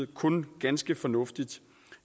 kun ganske fornuftigt